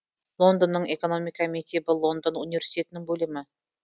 лондонның экономика мектебі лондон университетінің бөлімі